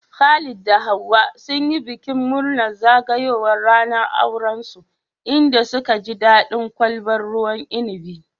Khalid da Hauwa sun yi bikin murnar zagayowar ranar aurensu, inda suka ji daɗin kwalbar ruwan inabi.